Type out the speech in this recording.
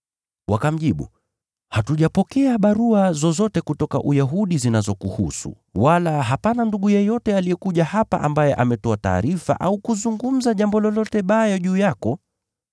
Wakamjibu, “Hatujapokea barua zozote kutoka Uyahudi zinazokuhusu, wala hapana ndugu yeyote aliyekuja hapa ambaye ametoa taarifa au kuzungumza jambo lolote baya juu yako.